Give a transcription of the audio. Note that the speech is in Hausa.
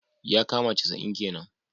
yakama casa'in kenan.